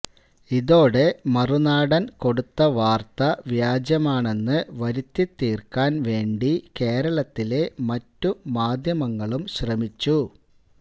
ഇതോടെ മറുനാടൻ കൊടുത്ത വാർത്ത വ്യാജമാണെന്ന് വരുത്തി തീർക്കാൻ വേണ്ടി കേരളത്തിലെ മറ്റുമാധ്യമങ്ങളും ശ്രമിച്ചു